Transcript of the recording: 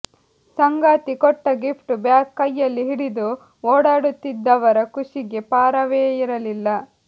ಸಂಗಾತಿ ಕೊಟ್ಟ gift bag ಕೈಯಲ್ಲಿ ಹಿಡಿದು ಓಡಾಡುತ್ತಿದ್ದವರ ಖುಷಿಗೆ ಪಾರವೇ ಇರಲಿಲ್ಲ